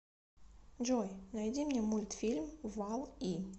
джой найди мне мультфильм валл и